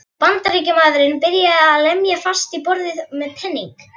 Bandaríkjamaðurinn byrjaði að lemja fast í borðið með peningi.